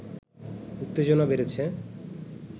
উত্তেজনা বেড়েছে